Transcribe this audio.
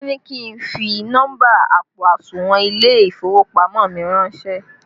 Wọn ní kí n fi nọ́mbà àpò àsùnwọ̀n ilé ìfowópamọ́ mi ránsẹ́